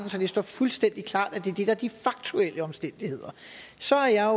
det står fuldstændig klart at det er det der er de faktuelle omstændigheder så er